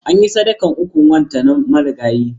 Anyi sadakar ukun wanta marigayi.